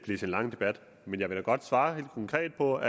lang debat men jeg vil da godt svare helt konkret og